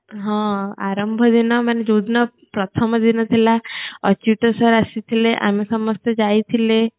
ହଁ ଆରମ୍ଭ ଦିନ ମାନେ ଯୋଉଦିନ ପ୍ରଥମଦିନ ଥିଲା ଯୋଉଦିନ ଅଚୁତ sir ଆସିଥିଲେ ଆମେ ସମସ୍ତେ ଯାଇଥିଲେ